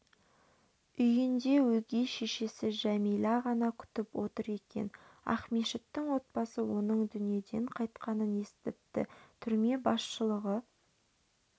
үйінде өгей шешесі жәмила ғана күтіп отыр екен ақмешіттің отбасы оның дүниеден қайтқанын естіпті түрме басшылығы